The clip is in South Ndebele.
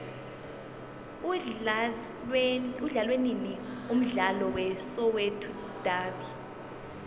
udlalwanini umdlalo we soweto davi